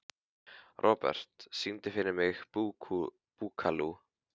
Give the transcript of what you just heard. Robert, syngdu fyrir mig „Búkalú“.